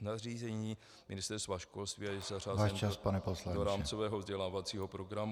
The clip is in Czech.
nařízení Ministerstva školství a je zařazen do rámcového vzdělávacího programu.